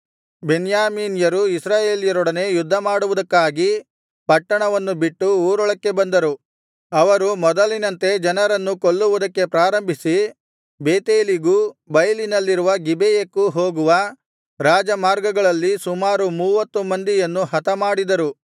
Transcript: ಬೆನ್ಯಾಮೀನ್ಯರು ಇಸ್ರಾಯೇಲ್ಯರೊಡನೆ ಯುದ್ಧಮಾಡವುದಕ್ಕಾಗಿ ಪಟ್ಟಣವನ್ನು ಬಿಟ್ಟು ಊರೊಳಕ್ಕೆ ಬಂದರು ಅವರು ಮೊದಲಿನಂತೆ ಜನರನ್ನು ಕೊಲ್ಲುವುದಕ್ಕೆ ಪ್ರಾರಂಭಿಸಿ ಬೇತೇಲಿಗೂ ಬೈಲಿನಲ್ಲಿರುವ ಗಿಬೆಯಕ್ಕೂ ಹೋಗುವ ರಾಜಮಾರ್ಗಗಳಲ್ಲಿ ಸುಮಾರು ಮೂವತ್ತು ಮಂದಿಯನ್ನು ಹತಮಾಡಿದರು